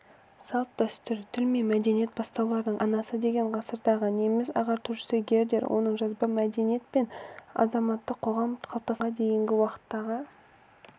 салт-дәстүр тіл мен мәдениет бастауларының анасы деген ғасырдағы неміс ағартушысы гердер оның жазба мәдениет пен азаматтық қоғам қалыптасқанға дейінгі уақыттағы